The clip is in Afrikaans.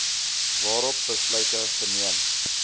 waarop besluite geneem